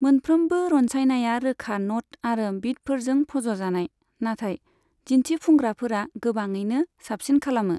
मोनफ्रोमबो रनसायनाया रोखा न'ट आरो बीटफोरजों फज'जानाय, नाथाय दिन्थिफुंग्राफोरा गोबाङैनो साबसिन खालामो।